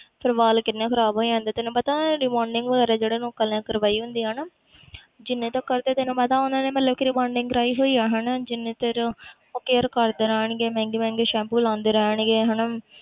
ਫਿਰ ਵਾਲ ਕਿੰਨੇ ਖ਼ਰਾਬ ਹੋ ਜਾਂਦੇ ਤੈਨੂੰ rebonding ਵਗ਼ੈਰਾ ਜਿਹੜੇ ਲੋਕਾਂ ਨੇ ਕਰਵਾਈ ਹੁੰਦੀ ਆ ਨਾ ਜਿੰਨੇ ਤੀਕਰ ਤੇ ਤੈਨੂੰ ਪਤਾ ਉਹਨਾਂ ਨੇ ਮਤਲਬ ਕਿ rebonding ਕਰਵਾਈ ਹੋਈ ਆ ਹਨਾ ਜਿੰਨੀ ਦੇਰ ਉਹ care ਕਰਦੇ ਰਹਿਣਗੇ ਮਹਿੰਗੇ ਮਹਿੰਗੇ ਸੈਂਪੂ ਲਗਾਉਂਦੇ ਰਹਿਣਗੇ ਹਨਾ